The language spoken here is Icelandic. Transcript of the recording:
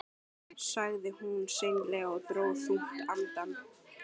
sagði hún seinlega og dró þungt andann.